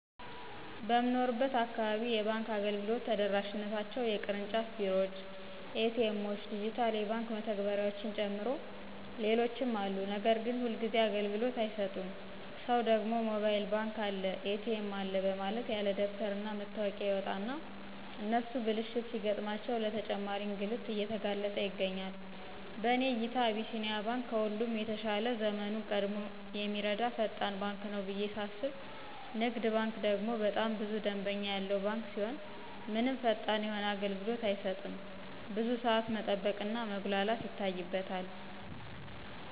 በምኖርበት አካባቢ የባንክ አገልግሎት ተደራሽነታቸው የቅርጫፍ ቢሮዎች፣ ኤ.ቲ. ኤምዎች፣ ዲጅታል የባንክ መተግበሪያዎችን ጨምሮ ሌሎችም አሉ ነገር ግን ሁልጊዚ አግልግሎት አይሰጡም ሰው ደግሞ ሞባይል ባንክ አለ፣ ኤ.ቲ.ኤም አለ በማለት ያለደበተር እና መታወቂያ ይወጣና እነሱ ብልሽት ሲገጥማቸው ለተጨማሪ እንግልት እየተጋለጥ ይገኛል። በእኔ እይታ አቢሲኒያ ባንክ ከሁሉም የተሻለ ዘመኑን ቀድሞ የሚረዳ ፈጣን ባንክ ነው ብየ ሳስብ ንግድ ባንክ ደግሞ በጣም ብዙ ደምበኛ ያለው ባንክ ሲሆን ምንም ፈጣን የሆነ አገልግሎት አይሰጥም ብዙ ሳዓት መጠበቅ እና መጉላላት ይታይበታል።